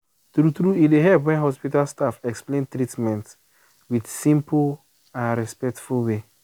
true true e dey help when hospital staff explain treatment with simple and respectful way.